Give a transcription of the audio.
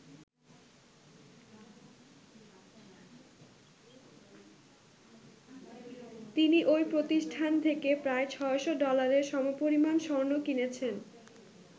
তিনি ওই প্রতিষ্ঠান থেকে প্রায় ৬০০ ডলারের সমপরিমান স্বর্ণ কিনেছেন।